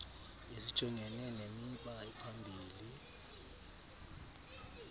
ezijongene nemiba ephambili